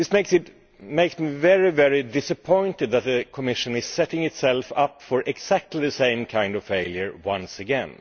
It makes me very disappointed that the Commission is setting itself up for exactly the same kind of failure once again.